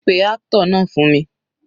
Pé actor náà fún mi.